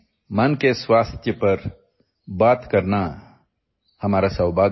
It is our privilege to talk about mental health in this Mann Ki Baat